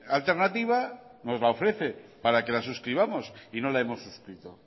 alternativa nos la ofrece para que la suscribamos y no la hemos suscrito